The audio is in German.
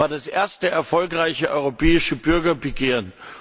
Es war das erste erfolgreiche europäische Bürgerbegehren.